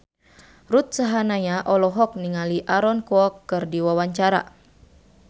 Ruth Sahanaya olohok ningali Aaron Kwok keur diwawancara